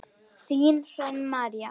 Þín Hrönn María.